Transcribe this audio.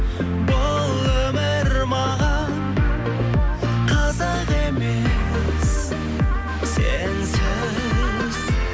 бұл өмір маған қызық емес сенсіз